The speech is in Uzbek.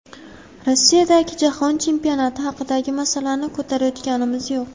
Rossiyadagi jahon chempionati haqidagi masalani ko‘tarayotganimiz yo‘q.